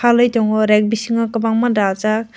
twkwlai tango reg bisingo kobakma dajak.